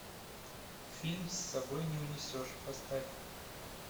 фильм с собой не унесешь поставь